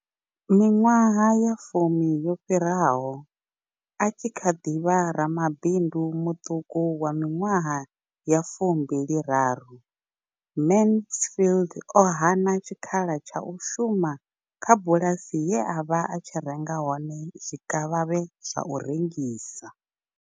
Miṅwaha ya fumi yo fhiraho, a tshi kha ḓi vha ramabindu muṱuku wa miṅwaha ya 23, Mansfield o hana tshikhala tsha u shuma kha bulasi ye a vha a tshi renga hone zwikavhavhe zwa u rengisa.